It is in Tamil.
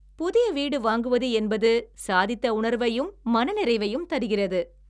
புதிய வீடு வாங்குவது என்பது சாதித்த உணர்வையும், மனநிறைவையும் தருகிறது.